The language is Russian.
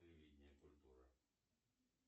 телевидение культура